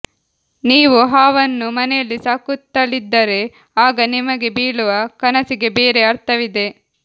ನೀವು ಹಾವನ್ನು ಮನೆಯಲ್ಲಿ ಸಾಕುತ್ತಲಿದ್ದರೆ ಆಗ ನಿಮಗೆ ಬೀಳುವ ಕನಸಿಗೆ ಬೇರೆ ಅರ್ಥವಿದೆ